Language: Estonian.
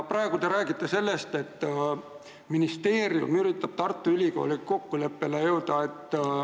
Praegu te räägite sellest, et ministeerium üritab Tartu Ülikooliga kokkuleppele jõuda, et ...